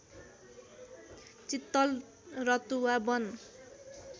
चित्तल Ratuwa वन